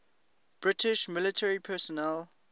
british military personnel